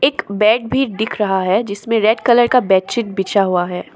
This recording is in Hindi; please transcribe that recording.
बेड भी दिख रहा है जिसमें रेड कलर का बेडशीट बिछा हुआ है।